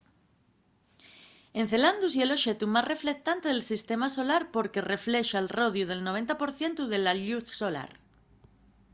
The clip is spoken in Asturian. encelandus ye l'oxetu más reflectante del sistema solar porque reflexa al rodiu'l 90 por cientu de la lluz solar